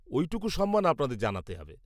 -ওইটুকু সম্মান আপনাদের জানাতে হবে।